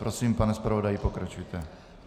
Prosím, pane zpravodaji, pokračujte.